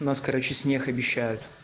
у нас короче снег обещают